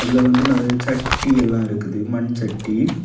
இதுல வந்து நறைய சட்டி எல்லாம் இருக்குது மண்சட்டி.